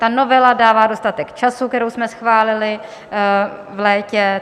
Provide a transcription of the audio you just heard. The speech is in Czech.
Ta novela dává dostatek času, kterou jsme schválili v létě.